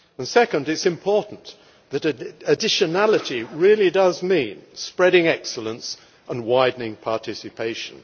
second, it is important that additionality really does mean spreading excellence and widening participation.